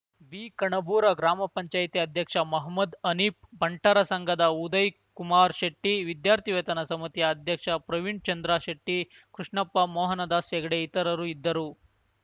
ಬಿಕಣಬೂರ ಗ್ರಾಮ ಪಂಚಾಯತಿ ಅಧ್ಯಕ್ಷ ಮಹಮ್ಮದ್‌ ಹನೀಫ್‌ ಬಂಟರ ಸಂಘದ ಉದಯ್‌ಕುಮಾರ್‌ ಶೆಟ್ಟಿ ವಿದ್ಯಾರ್ಥಿವೇತನ ಸಮಿತಿಯ ಅಧ್ಯಕ್ಷ ಪ್ರವೀಣ್‌ಚಂದ್ರಶೆಟ್ಟಿ ಕೃಷ್ಣಪ್ಪ ಮೋಹನದಾಸ್‌ಹೆಗ್ಡೆ ಇತರರು ಇದ್ದರು